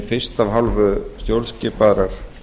fyrst af hálfu stjórnskipaðrar